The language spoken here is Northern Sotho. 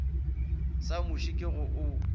sa muši ke go o